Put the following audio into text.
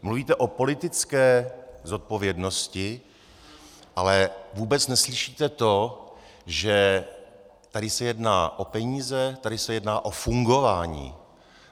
Mluvíte o politické zodpovědnosti, ale vůbec neslyšíte to, že se tady jedná o peníze, tady se jedná o fungování.